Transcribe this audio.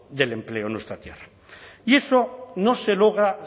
del empleo en nuestra tierra y eso no se logra